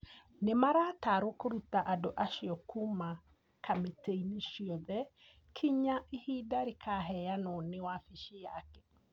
nĩ marataarwo kũruta andũ acio kuuma kamĩtĩ-inĩ ciothe kinya ihinda rĩkaheanwo nĩ wabici yake.